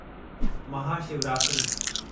Mahashivratri